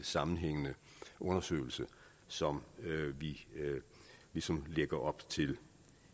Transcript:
sammenhængende undersøgelse som vi ligesom lægger op til